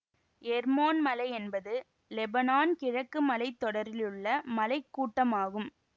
எர்மோன் மலை என்பது லெபனான் கிழக்கு மலை தொடரிலுள்ள மலை கூட்டமாகும்